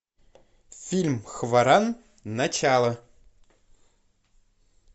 фильм хваран начало